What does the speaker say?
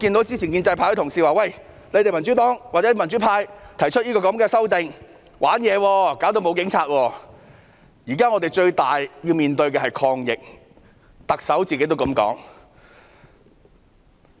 之前建制派有同事說民主黨、民主派提出的修訂議案是"玩嘢"，會導致沒有警察，但我們現時要面對的最大挑戰是抗疫，特首也是這樣說的。